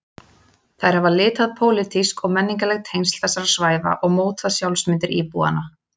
Þær hafa litað pólitísk og menningarleg tengsl þessara svæða og mótað sjálfsmyndir íbúanna.